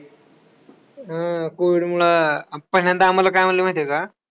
हो, COVID मूळ. पहिल्यांदा आम्हाला काय म्हणले माहित आहे का?